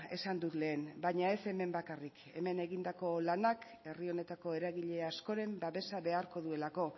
esan dut lehen baina ez hemen bakarrik hemen egindako lanak herri honetako eragile askoren babesa beharko duelako